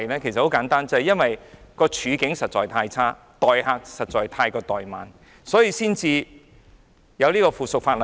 原因很簡單，正是因為環境實在太差，太過待慢遊客，所以才要修改附屬法例。